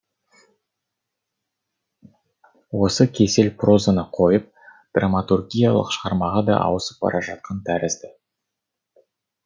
осы кесел прозаны қойып драматургиялық шығармаға да ауысып бара жатқан тәрізді